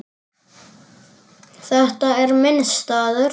Þetta er minn staður.